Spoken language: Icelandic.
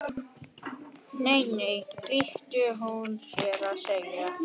Nei, nei flýtir hún sér að segja.